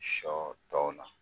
Sɔ dɔɔnin na